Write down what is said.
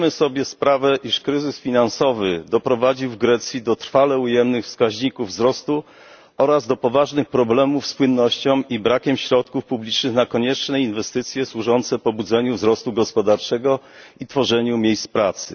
Szanowna Pani Przewodnicząca! Zdajemy sobie sprawę, iż kryzys finansowy doprowadzi w Grecji do trwale ujemnych wskaźników wzrostu oraz do poważnych problemów z płynnością i brakiem środków publicznych na konieczne inwestycje służące pobudzeniu wzrostu gospodarczego i tworzeniu miejsc pracy.